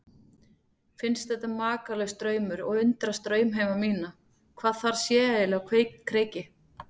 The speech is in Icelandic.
Finnst þetta makalaus draumur og undrast draumheima mína, hvað þar sé eiginlega á kreiki.